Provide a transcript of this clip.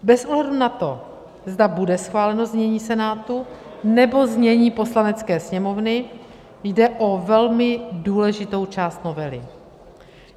Bez ohledu na to, zda bude schváleno znění Senátu, nebo znění Poslanecké sněmovny, jde o velmi důležitou část novely.